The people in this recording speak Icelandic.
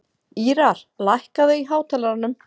Ýrar, lækkaðu í hátalaranum.